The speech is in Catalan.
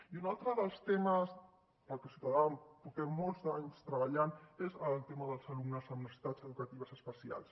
i un altre dels temes pel que ciutadans portem molts d’anys treballant és el tema dels alumnes amb necessitats educatives especials